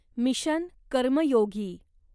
mission Karmayogi